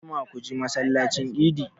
Anjima ku ji masallacin idi!